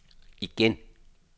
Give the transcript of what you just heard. igen